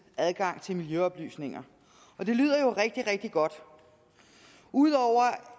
adgang til miljøoplysninger og det lyder jo rigtig rigtig godt ud over